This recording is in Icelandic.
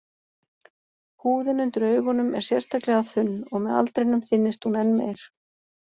Húðin undir augunum er sérstaklega þunn, og með aldrinum þynnist hún enn meir.